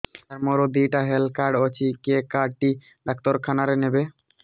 ସାର ମୋର ଦିଇଟା health card ଅଛି କେ କାର୍ଡ ଟି ଡାକ୍ତରଖାନା ରେ ନେବେ